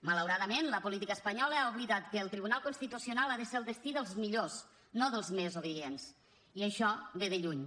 malauradament la política espanyola ha oblidat que el tribunal constitucional ha de ser el destí dels millors no dels més obedients i això ve de lluny